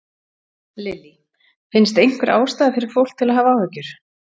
Lillý: Finnst einhver ástæða fyrir fólk að hafa áhyggjur?